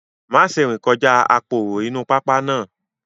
Má ṣe rìn kọjá aporo inú pápá náà